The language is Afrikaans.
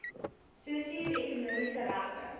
sosio ekonomiese regte